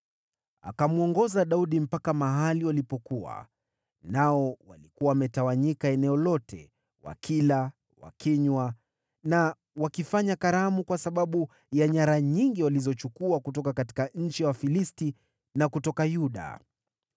Akamwongoza Daudi mpaka mahali walipokuwa, nao walikuwa wametawanyika eneo lote, wakila, wakinywa na wakifanya karamu kwa sababu ya nyara nyingi walizochukua kutoka nchi ya Wafilisti na kutoka Yuda.